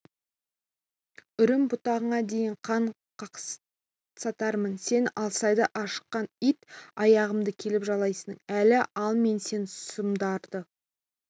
үрім-бұтағыңа дейін қан қақсатармын сен алсайды ашыққан ит аяғымды келіп жалайсың әлі ал мен сен сұмдарды